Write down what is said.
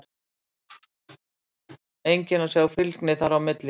Enginn að sjá fylgni þar á milli?